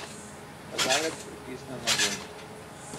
Kazalec pritisne na gumb.